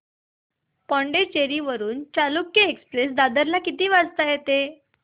पुडूचेरी वरून चालुक्य एक्सप्रेस दादर ला किती वाजता येते